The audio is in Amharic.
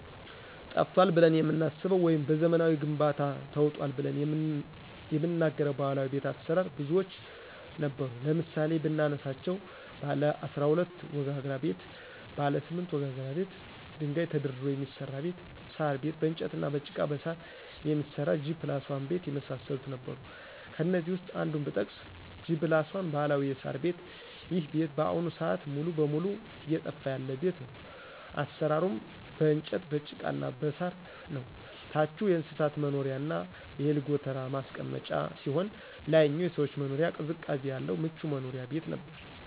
ጠፍቷል ብለን የምናስበው ወይም በዘመናዊ ግንባታ ተውጧል ብለን የምንናገረው ባህላዊ ቤት አሰራር ብዙዎች ነበሩ ለምሳሌ ብናነሳቸው ባለ12 ወጋግራ ቤት :ባለ8 ወጋግራ ቤት ደንጋይ ተደርድሮ የሚሰራ ቤት :ሳር ቤት በእንጨትና በጭቃ በሳር የሚሰራ G+1 ቤት የመሳሰሉት ነበሩ ከእነዚህ ውስጥ አንዱን ብጠቅስ G+1 ባህላዊ የሳር ቤት ይሄ ቤት በአሁኑ ስአት ሙሉ በሙሉ እየጠፋ ያለ ቤት ነው አሰራሩም በእንጨት በጭቃና በሳር ነው ታቹ የእንስሳት መኖሪያና የእህል ጎተራ ማስቀመጫ ሲሆን ላይኛው የሰዎች መኖሪያ ቅዝቃዜ ያለው ምቹ መኖሪያ ቤት ነበር።